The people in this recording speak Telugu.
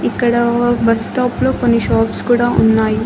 ఇక్కడ బస్ స్టాప్ లో కొన్ని షాప్స్ కూడా ఉన్నాయి.